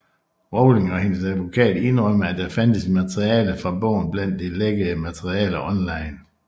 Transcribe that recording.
Rowling og hendes advokat indrømmede at der fandtes materiale fra bogen blandt det lækkede materiale online